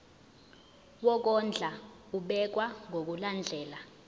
wokondla ubekwa ngokulandlela